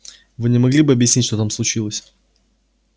вы не могли бы объяснить что там случилось